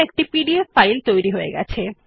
একটি PDF file তৈরি হয়ে গেছে